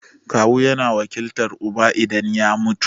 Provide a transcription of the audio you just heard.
Kawu yana wakiltar uba idan ya mutu.